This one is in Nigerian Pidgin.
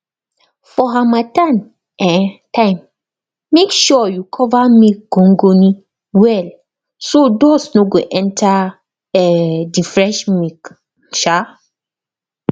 for harmattan um time make sure you cover milk gongoni well so dust no go enter um the fresh milk um